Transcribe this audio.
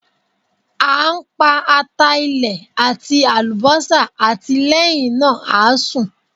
A n pa ata ilẹ ati alubosa ati lẹhinna a sun